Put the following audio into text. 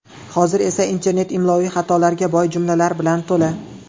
Hozir esa internet imloviy xatolarga boy jumlalar bilan to‘la.